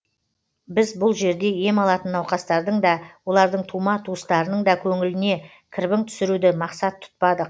біз бұл жерде ем алатын науқастардың да олардың тума туыстарының да көңіліне кірбің түсіруді мақсат тұтпадық